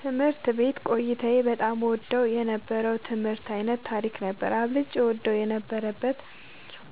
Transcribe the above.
ትምህርት ቤት ቆይታዬ በጣም እወደው የነበረው የትምህርት ዓይነት ታሪክ ነበር። አብልጬ እወደው የነበረበት